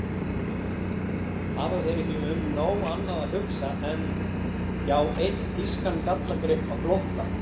Hafa þeir ekki um nóg annað að hugsa en. já, einn þýskan gallagrip á flótta?